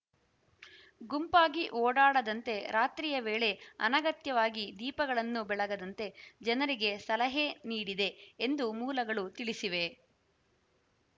ಗುಂಪಾಗಿ ಓಡಾಡದಂತೆ ರಾತ್ರಿಯ ವೇಳೆ ಅನಗತ್ಯವಾಗಿ ದೀಪಗಳನ್ನು ಬೆಳಗದಂತೆ ಜನರಿಗೆ ಸಲಹೆ ನೀಡಿದೆ ಎಂದು ಮೂಲಗಳು ತಿಳಿಸಿವೆ